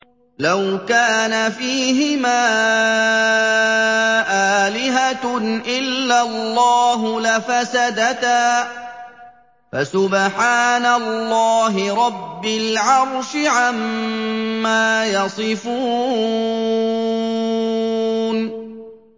لَوْ كَانَ فِيهِمَا آلِهَةٌ إِلَّا اللَّهُ لَفَسَدَتَا ۚ فَسُبْحَانَ اللَّهِ رَبِّ الْعَرْشِ عَمَّا يَصِفُونَ